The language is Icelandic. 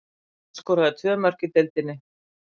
Hann skoraði tvö mörk í deildinni.